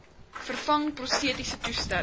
vervang prostetiese toestelle